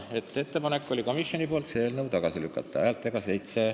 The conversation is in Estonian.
Komisjoni ettepanek oli ja on see eelnõu tagasi lükata .